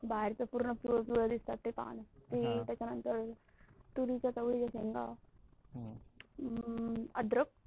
बाहेर च पूर्ण पिवळ पिवळ दिसतात. आह त्याच्या नंतर तुरीच्या चवळीच्या शेंगा, अह अद्रक,